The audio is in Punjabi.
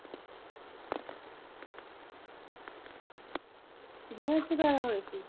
ਕਿੰਨੇ ਬੱਚੇ ਪੈਦਾ ਹੋਏ ਸੀ